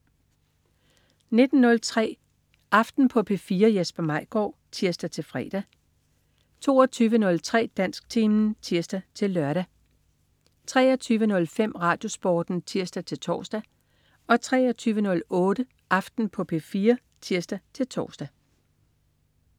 19.03 Aften på P4. Jesper Maigaard (tirs-fre) 22.03 Dansktimen (tirs-lør) 23.05 RadioSporten (tirs-tors) 23.08 Aften på P4 (tirs-tors)